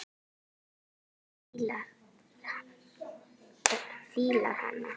Fólkið fílar hana.